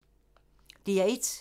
DR1